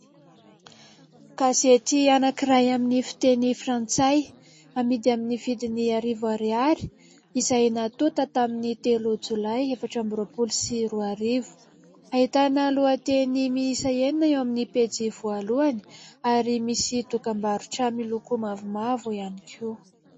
Gazety anakiray amin'ny fiteny frantsay amidy amin'ny vidiny arivo ariary. Izay natota tamin'ny telo jolay efatra amby roapolo sy roarivo. Ahitana lohateny miisa enina eo amin'ny pejy voalohany ary misy dokam-barotra miloko mavomavo ihany koa.